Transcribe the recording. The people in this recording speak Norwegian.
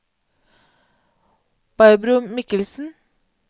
Barbro Michelsen